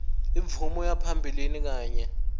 imvume yaphambilini kanye